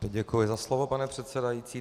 Děkuji za slovo, pane předsedající.